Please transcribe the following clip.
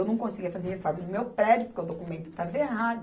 Eu não conseguia fazer reforma no meu prédio, porque o documento estava errado.